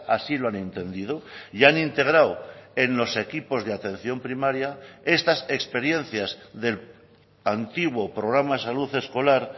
así lo han entendido y han integrado en los equipos de atención primaria estas experiencias del antiguo programa de salud escolar